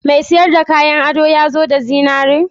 Mai siyar da kayan ado ya zo da zinare?